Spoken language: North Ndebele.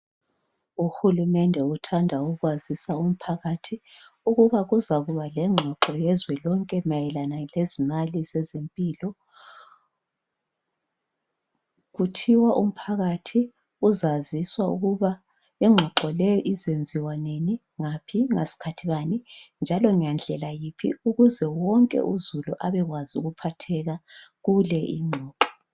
Uhulumende uthanda ukwazisa umphakathi ukuba kuzakuba lengxoxo yezwe lonke mayelana lezimali zezempilo. Kuthiwa umphakathi uzaziswa ukuba ingxoxo le izenziwa nini , ngaphi, ngasikhathi bani njalo ngendlela yiphi ukuze wonke uzulu abekwazi ukuphatheka kule ingxoxo.